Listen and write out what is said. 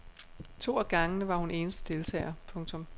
To af gangene var hun eneste deltager. punktum